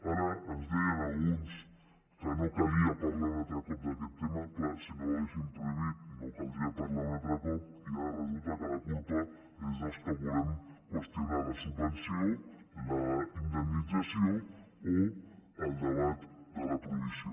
ara ens deien alguns que no calia parlar un altre cop d’aquest tema clar si no haguessin prohibit no caldria parlar ne un altre cop i ara resulta que la culpa és dels que volem qüestionar la subvenció la indemnització o el debat de la prohibició